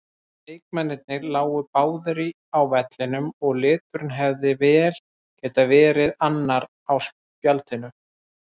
Leikmennirnir lágu báðir á vellinum og liturinn hefði vel getað verið annar á spjaldinu.